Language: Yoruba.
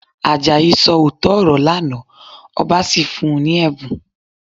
Àjàyí sọ òótọ́ ọ̀rọ̀ lánàá, ọba sì fún un ní ẹ̀bùn